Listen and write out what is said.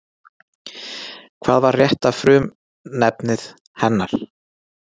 Hvað var rétta frumefnið hennar?